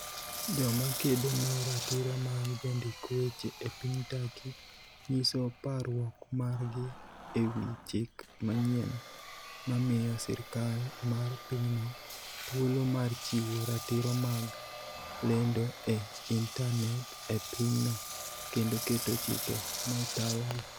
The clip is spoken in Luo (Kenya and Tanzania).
Joma kedo ne ratiro mag jondik weche e piny Turkey nyiso parruok margi e wi chik manyien mamiyo sirkal mar pinyno thuolo mar chiwo ratiro mag lendo e intanet e pinyno, kendo keto chike ma tayogi